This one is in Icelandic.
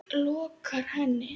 lokar henni.